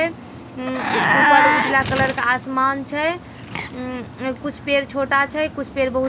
उम्म उ ऊपर उजला कलर का आसमान छै उम्म ए कुछ पेड़ छोटा छै कुछ पेड़ बहुत बड़ा छै।